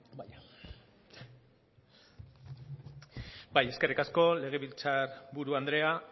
bai eskerrik asko legebiltzar buru andrea